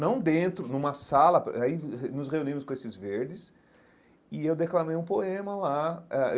Não dentro, numa sala, aí nos reunimos com esses verdes e eu declamei um poema lá eh.